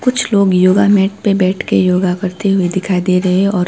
कुछ लोग yoga mat पे बैठ के योगा करते हुए दिखाई दे रहे हैं और--